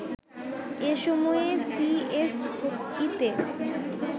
এ সময়ে সিএসইতে